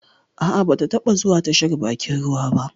Ah ah, ba taba zuwa tashar bakin ruwa ba